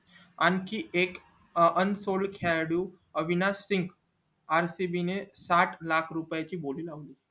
आणखी एक अं unsold खेळाडू अविनाश सिंग rcb ने साठ लाख रुपये ची बोली लावली